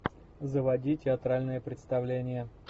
заводи театральное представление